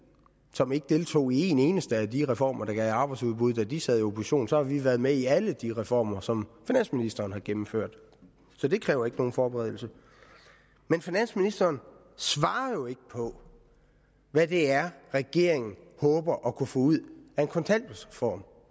som ikke deltog i en eneste af de reformer der gav arbejdsudbud da de sad i opposition så har vi været med i alle de reformer som finansministeren har gennemført så det kræver ikke nogen forberedelse men finansministeren svarede jo ikke på hvad det er regeringen håber at kunne få ud af en kontanthjælpsreform